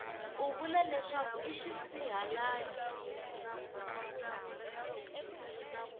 u vula leswaku i xisihalali